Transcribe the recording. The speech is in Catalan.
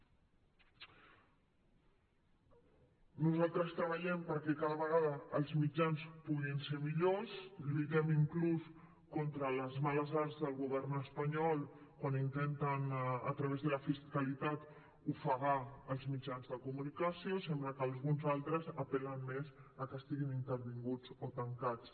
nosaltres treballem perquè cada vegada els mitjans puguin ser millors lluitem inclús contra les males arts del govern espanyol quan intenten a través de la fiscalitat ofegar els mitjans de comunicació i sembla que alguns altres apel·len més a que estiguin intervinguts o tancats